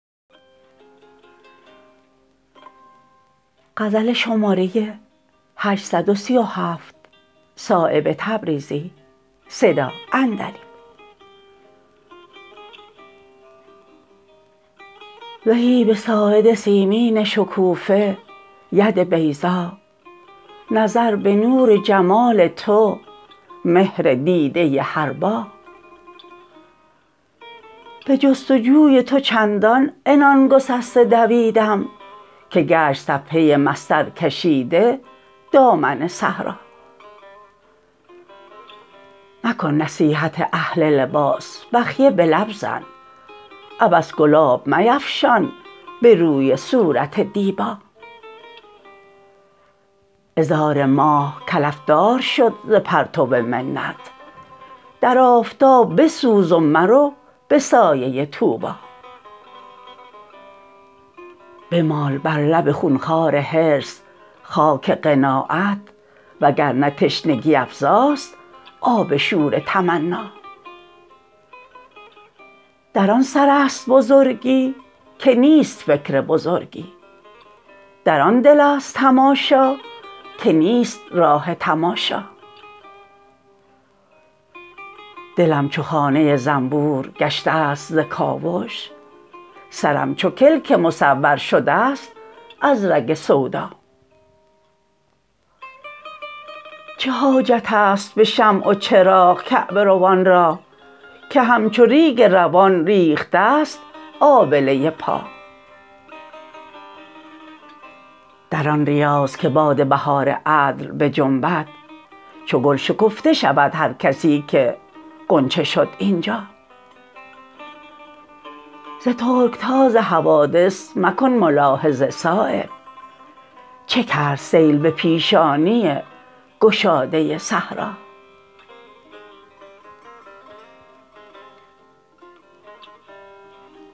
زهی به ساعد سیمین شکوفه ید بیضا نظر به نور جمال تو مهر دیده حربا به جستجوی تو چندان عنان گسسته دویدم که گشت صفحه مسطر کشیده دامن صحرا مکن نصیحت اهل لباس بخیه به لب زن عبث گلاب میفشان به روی صورت دیبا عذار ماه کلف دار شد ز پرتو منت در آفتاب بسوز و مرو به سایه طوبی بمال بر لب خونخوار حرص خاک قناعت وگرنه تشنگی افزاست آب شور تمنا در آن سرست بزرگی که نیست فکر بزرگی در آن دل است تماشا که نیست راه تماشا دلم چو خانه زنبور گشته است ز کاوش سرم چو کلک مصور شده است از رگ سودا چه حاجت است به شمع و چراغ کعبه روان را که همچو ریگ روان ریخته است آبله پا در آن ریاض که باد بهار عدل بجنبد چو گل شکفته شود هر کسی که غنچه شد اینجا ز ترکتاز حوادث مکن ملاحظه صایب چه کرد سیل به پیشانی گشاده صحرا